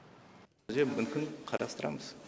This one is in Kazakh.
күзде мүмкін қарастырамыз